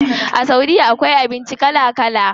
A saudiya akwai abinci kala kala.